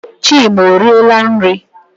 Chima ọriela nri?